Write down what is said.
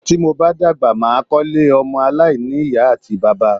Tí mo bá dàgbà, mà á kọ́ ilé ọmọ aláìní-Ìyá àti bàbá.